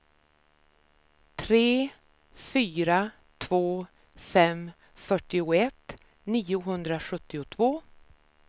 tre fyra två fem fyrtioett niohundrasjuttiotvå